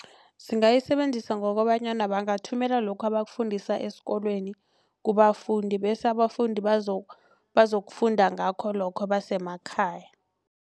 Singayisebenzisa ngokobanyana bangathumela lokho abakufundisa esikolweni kubafundi bese abafundi bazokufundisa ngakho lokho basemakhaya.